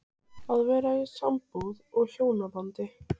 Að vera í sambúð og hjónabandi